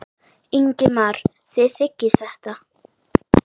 Ingimar: Þið þiggið þetta?